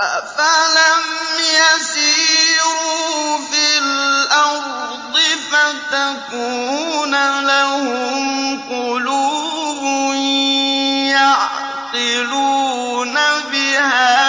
أَفَلَمْ يَسِيرُوا فِي الْأَرْضِ فَتَكُونَ لَهُمْ قُلُوبٌ يَعْقِلُونَ بِهَا